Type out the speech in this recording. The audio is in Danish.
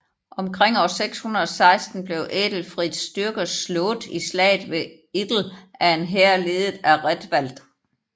Omkring år 616 blev Æthelfriths styrker slået i slaget ved Idle af en hær ledet af Raedwald